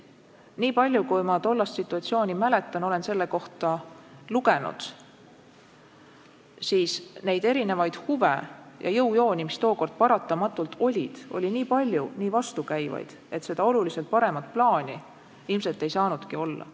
Nii palju, kui ma tollast situatsiooni mäletan ja olen selle kohta lugenud, siis erinevaid huve ja jõujooni, mis tookord paratamatult olid, oli nii palju, nii vastukäivaid, et oluliselt paremat plaani ilmselt ei saanudki olla.